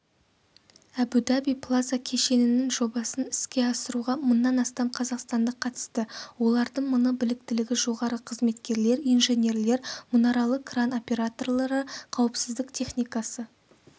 әбу-даби плаза кешенінің жобасын іске асыруға мыңнан астам қазақстандық қатысты олардың мыңы біліктілігі жоғары қызметкерлер инженерлер мұнаралы кран операторлары қауіпсіздік техникасы